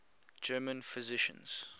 german physicians